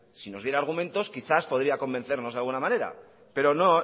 si nos diera argumentos quizás podría convencernos de alguna manera pero no